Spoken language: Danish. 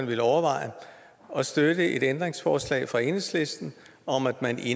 vil overveje at støtte et ændringsforslag fra enhedslisten om at man i